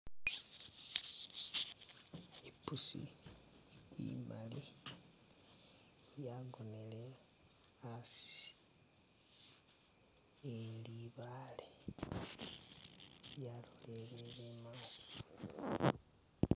Ipusi imali yagonele asi ni libaale yaloleleye imaso .